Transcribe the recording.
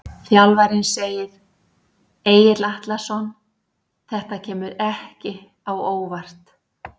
Þjálfarinn segir- Egill Atlason Þetta kemur ekki á óvart.